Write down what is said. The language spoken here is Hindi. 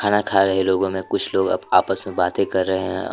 खाना खा रहे लोगों में कुछ लोग अब आपस में बातें कर रहे हैं।